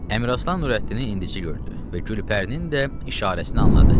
Əmiraslan Nurəddini indici gördü və Gülpərinin də işarəsini anladı.